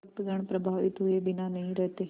भक्तगण प्रभावित हुए बिना नहीं रहते